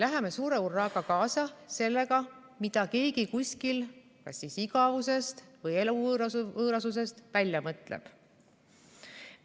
Läheme suure hurraaga kaasa sellega, mida keegi kuskil kas igavusest või eluvõõrusest välja mõtleb.